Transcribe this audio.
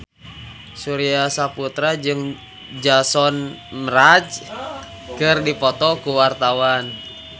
Surya Saputra jeung Jason Mraz keur dipoto ku wartawan